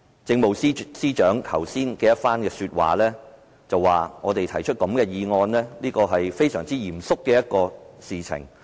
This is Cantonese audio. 政務司司長剛才說，我們提出這項議案是一件非常嚴肅的事。